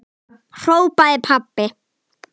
hrópaði pabbi.